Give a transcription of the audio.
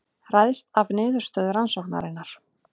Ræðst af niðurstöðu rannsóknarinnar